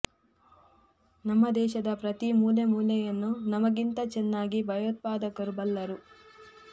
ನಮ್ಮ ದೇಶದ ಪ್ರತೀ ಮೂಲೆ ಮೂಲೆಯನ್ನು ನಮಗಿಂತ ಚೆನ್ನಾಗಿ ಭಯೋತ್ಪಾದಕರು ಬಲ್ಲರು